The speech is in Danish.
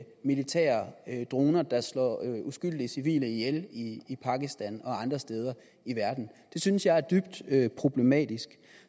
militære droner der slår uskyldige civile ihjel i pakistan og andre steder i verden det synes jeg er dybt problematisk